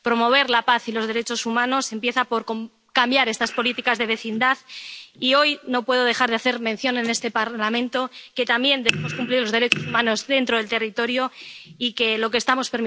Promover la paz y los derechos humanos empieza por cambiar estas políticas de vecindad, y hoy no puedo dejar de hacer mención, en este Parlamento, de que también debemos cumplir los derechos humanos dentro del territorio y de que lo que estamos...